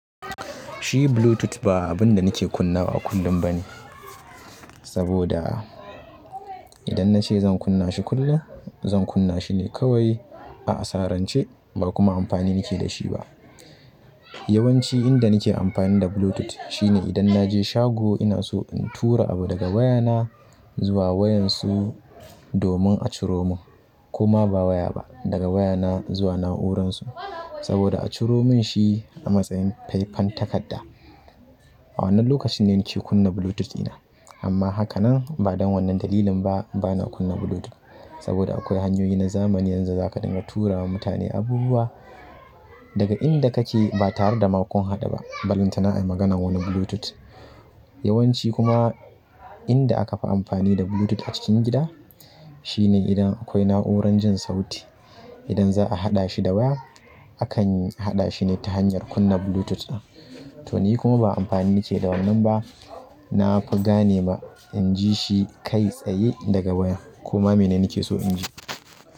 Shi Bluetooth ba abun da nake kunnawa a kullum ba ne. Saboda idan na ce zan kunna shi kullum, zan kunna shi ne kawai a asarance ba kuma amfani nake da shi ba. Yawanci inda nake amfani da Bluetooth shine idan na je shago ina so in tura abu daga wayana zuwa waƴansu domin a ciro mun koma ba waya ba, daga wayana zuwa na'uransu saboda a ciro mun shi a matsayin faifan takarda. A wannan lokacin ne nake kunna Bluetooth ɗina. Amma haka nan ba don wannan dalilin ba bana kunna Bluetooth saboda akwai hanyoyi na zamani yanzu zaka dinga tura wa mutane abubuwa daga inda kake ba tare da makun haɗu ba, ballantana ai maganan wani Bluetooth. Yawanci kuma inda aka fi amfani da Bluetooth a cikin gida shine idan akwai na'urar jin sauti. Idan za'a haɗa shi da waya, akan haɗa shi ne ta hanyar kunna Bluetooth ɗa. To ni kuma ba amfani nake da wannan ba, nafi ganewa in ji shi kai tsaye daga waya kuma mene nake so in ji.